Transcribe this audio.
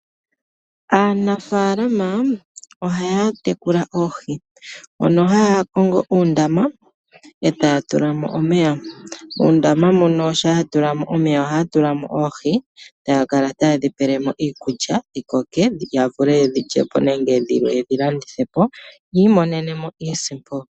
Aanafaalama ohaya tekula oohi mono haya kongo uundama ee taya tulamo omeya. Muundama muno shampa ya tulamo omeya ohaya tulamo oohi, taya kala taye dhipelemo iikulya dhikoke yavule yedhi lyepo nenge yedhi landithepo yiimonene iisimpo.